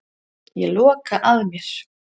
Ég loka að mér.